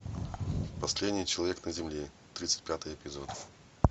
последний человек на земле тридцать пятый эпизод